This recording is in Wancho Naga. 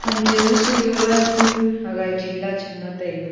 hamchen ma chu wangu aga chin lag tham taiga.